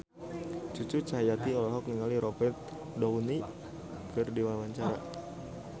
Cucu Cahyati olohok ningali Robert Downey keur diwawancara